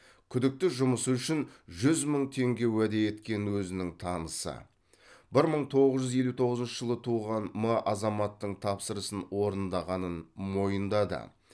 күдікті жұмысы үшін жүз мың теңге уәде еткен өзінің танысы бір мың тоғыз жүз елу тоғызыншы жылы туған м азаматтың тапсырысын орындағанын мойындады